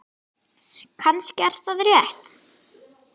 Kannski er það rétt.